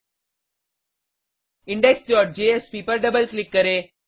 indexजेएसपी पर double click करें